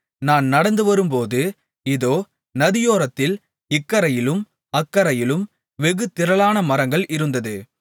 நான் நடந்துவரும்போது இதோ நதியோரத்தில் இக்கரையிலும் அக்கரையிலும் வெகு திரளான மரங்கள் இருந்தது